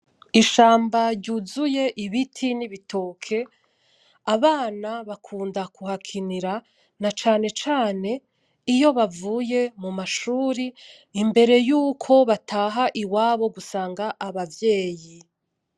Ishamba ryuzuye ibiti n’ibitoke, abana bakunda kuhakinira nacacane iyo bavuye mumashuri imbere yuko bataha iwabo gusanga abavyeyi